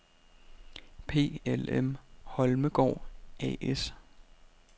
PLM Holmegaard A/S